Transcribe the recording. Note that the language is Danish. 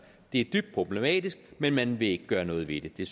det er dybt problematisk men man vil ikke gøre noget ved det